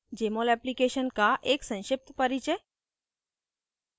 jmol application का एक संक्षिप्त परिचय